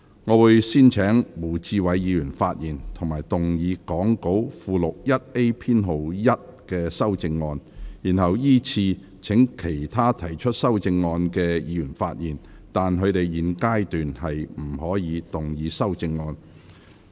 我會先請胡志偉議員發言及動議講稿附錄 1A 編號1的修正案，然後依次請其他提出修正案的議員發言；但他們在現階段不可動議修正案。